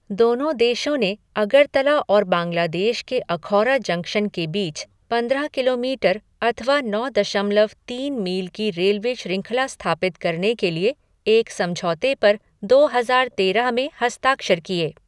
दोनों देशों ने अगरतला और बांग्लादेश के अखौरा जंक्शन के बीच पंद्रह किलोमीटर अथवा नौ दशमलव तीन मील की रेलवे शृंखला स्थापित करने के लिए एक समझौते पर दो हज़ार तेरह में हस्ताक्षर किए।